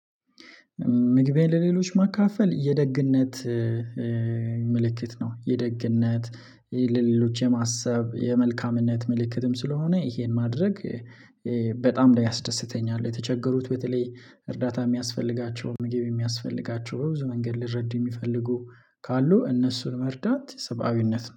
ምግቤን ለሌሎች መካፈል የደግነት ምልክት ነው። የደግነት ለሌሎች የማሰብ የመልካምነት ምልክትም ስለሆነ ይሄን ማድረግ በጣም ላይ ያስደስተኛል። የተቸገሩት በተለይ እርዳታ የሚያስፈልጋቸውን ምግብ የሚያስፈልጋቸውን ብዙ መንገድ ሊረዱ የሚፈልጉ ካሉ እነሱን መርዳት ስብአዊነት